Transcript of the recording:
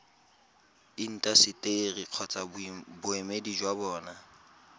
intaseteri kgotsa boemedi jwa bona